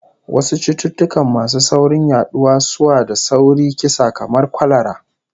Wasu cututtuka masu sauri yaduwa sua da sauri kisa kamar kwalara